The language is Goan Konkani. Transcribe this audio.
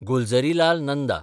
गुलझरीलाल नंदा